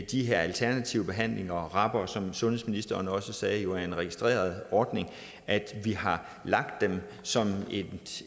de her alternative behandlinger og rabere er som sundhedsministeren også sagde en registreret ordning at vi har lagt dem som